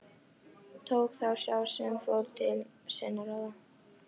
Tók þá sá sem fór til sinna ráða.